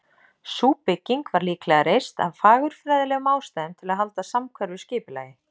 Sú bygging var líklega reist af fagurfræðilegum ástæðum, til að halda samhverfu skipulagi.